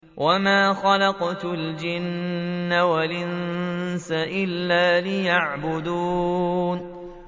وَمَا خَلَقْتُ الْجِنَّ وَالْإِنسَ إِلَّا لِيَعْبُدُونِ